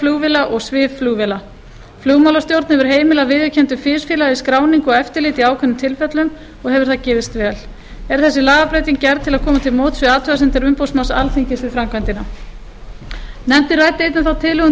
flugvéla og svifflugvéla flugmálastjórn hefur heimilað viðurkenndu fisfélagi skráningu og eftirlit í ákveðnum tilfellum og hefur það gefist vel er þessi lagabreyting gerð til að koma til móts við athugasemdir umboðsmanns alþingis við framkvæmdina nefndin ræddi einnig þá tilhögun